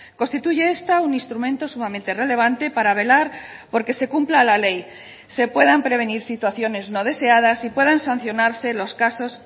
constituye esta un instrumento sumamente relevante para velar porque se cumpla la ley se puedan prevenir situaciones no deseadas y puedan sancionarse los casos